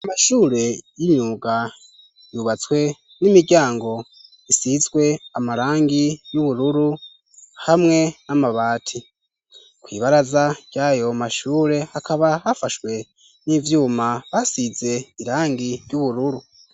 Amashure y'imyuga yubatswe n'imiryango isizwe amarangi y'ubururu hamwe n'amabati ku ibaraza ryayo mashure hakaba hafashwe n'ivyuma basize irangi ry'ubururu.